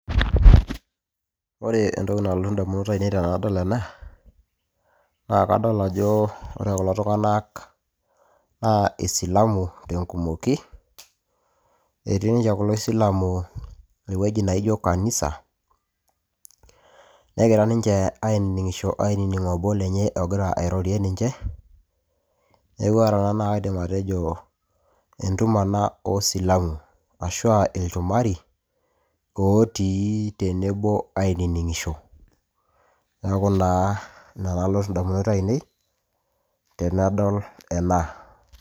ore entoki nalotu indamunot ainei tenadol ena naa kadol ajo ore kulo tung'anak naa isilamu tenkumoki etii ninche kulo silamu ewueji naijo kanisa negira ninche ainining'isho ainining obo lenye ogira airorie ninche neku ore ena naa kaidim atejo entumo ena osilamu ashua ilchumari otii tenebo ainining'isho neeku naa ina nalotu indamunot ainei tenadol ena.